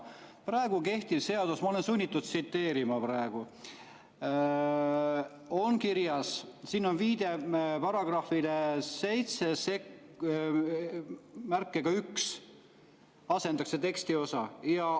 Praegu kehtiva seaduse §-s 71 – ma olen sunnitud tsiteerima praegu, siin on kirjas – asendatakse tekstiosa.